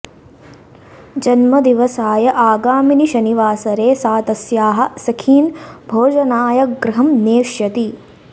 जन्मदिवसाय आगामिनि शनिवासरे सा तस्याः सखीन् भोजनाय गृहं नेष्यति